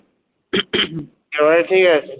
এবারে ঠিক আছে?